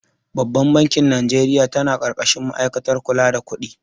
Babbar bankin Najeriya ta na ƙarƙashin ma'aikatar kula da kudi